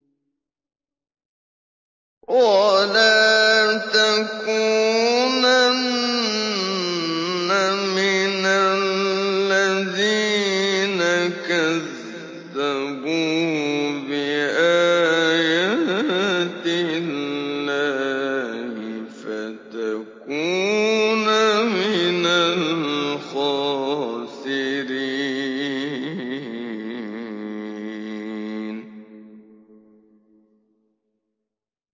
وَلَا تَكُونَنَّ مِنَ الَّذِينَ كَذَّبُوا بِآيَاتِ اللَّهِ فَتَكُونَ مِنَ الْخَاسِرِينَ